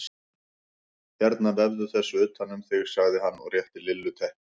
Hérna vefðu þessu utan um þig sagði hann og rétti Lillu teppi.